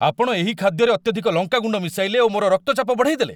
ଆପଣ ଏହି ଖାଦ୍ୟରେ ଅତ୍ୟଧିକ ଲଙ୍କା ଗୁଣ୍ଡ ମିଶାଇଲେ ଓ ମୋର ରକ୍ତଚାପ ବଢ଼େଇଦେଲେ।